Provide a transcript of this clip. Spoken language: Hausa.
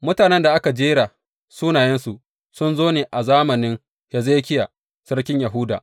Mutanen da aka jera sunayensu sun zo ne a zamanin Hezekiya sarkin Yahuda.